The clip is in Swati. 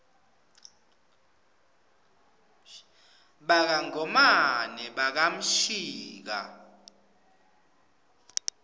baka ngomane baka mshika